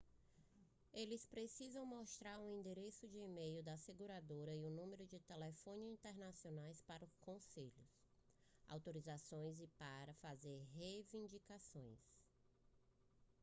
eles precisam mostrar o endereço de e-mail da seguradora e números de telefone internacionais para conselhos/autorizações e para fazer reivindicações